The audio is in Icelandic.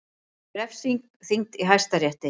Refsing þyngd í Hæstarétti